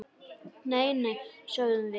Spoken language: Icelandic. Nei, nei, sögðum við.